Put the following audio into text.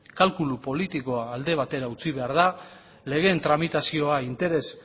kalkulu politikoa alde batera utzi behar da legeen tramitazioa interes